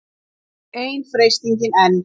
Ein freistingin enn.